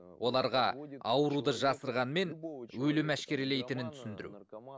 оларға ауруды жасырғанмен өлім әшкерелейтінін түсіндіру